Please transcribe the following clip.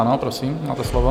Ano, prosím, máte slovo.